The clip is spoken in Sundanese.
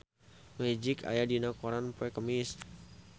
Magic aya dina koran poe Kemis